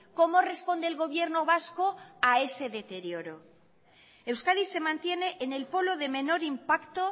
cómo responde el gobierno vasco a ese deterioro euskadi se mantiene en el polo de menor impacto